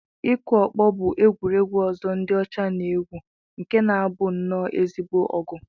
Ịkụ ọkpọ bụ egwuregwu ọzọ ndị ọcha na-egwu nke na-abụ nnọọ ezigbo ọgụ